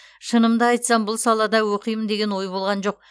шынымды айтсам бұл салада оқимын деген ой болған жоқ